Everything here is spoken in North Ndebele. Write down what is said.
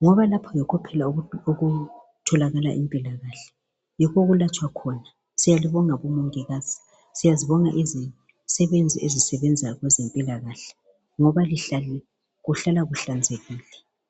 ngoba lapha yikho phela okutholakala impilakahle yikho okulatshwa khona siyalibonga bomongikazi siyazibona izisebenzi ezisebenza kwezempilakahle ngoba kuhlala kuhlanzekile